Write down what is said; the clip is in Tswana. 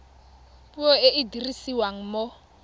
puo e e dirisiwang mo